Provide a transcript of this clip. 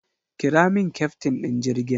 Kira min kyaftin ɗin jirgin!